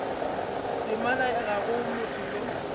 temana ga go motho yo